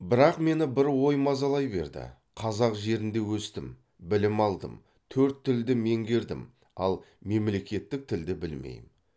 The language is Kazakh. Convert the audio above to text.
бірақ мені бір ой мазалай берді қазақ жерінде өстім білім алдым төрт тілді меңгердім ал мемлекеттік тілді білмеймін